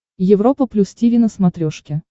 европа плюс тиви на смотрешке